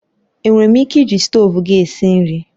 Enwere m ike iji stovu gị esi nri?